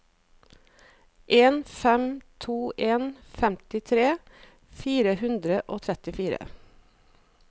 en fem to en femtitre fire hundre og trettifire